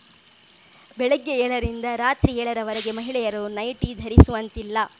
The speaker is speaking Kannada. ಬೆಳಗ್ಗೆ ಏಳರಿಂದ ರಾತ್ರಿ ಏಳರವರೆಗೆ ಮಹಿಳೆಯರು ನೈಟಿ ಧರಿಸುವಂತಿಲ್ಲ